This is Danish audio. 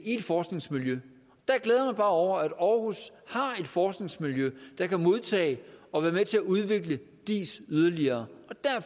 i et forskningsmiljø der glæder jeg over at aarhus har et forskningsmiljø der kan modtage og være med til at udvikle diis yderligere